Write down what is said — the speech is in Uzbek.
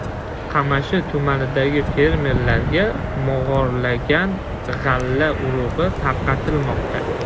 Qamashi tumanidagi fermerlarga mog‘orlagan g‘alla urug‘i tarqatilmoqda.